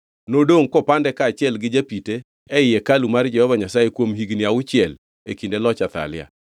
Nodongʼ kopande kaachiel gi japite ei hekalu mar Jehova Nyasaye kuom higni auchiel e kinde loch Athalia.